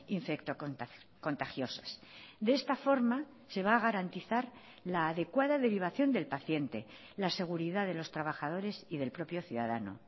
infectocontagiosas de esta forma se va a garantizar la adecuada derivación del paciente la seguridad de los trabajadores y del propio ciudadano